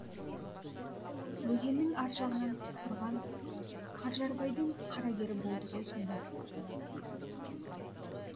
өзеннің ар жағынан пысқырған қанжарбайдың қарагері болды ғой сонда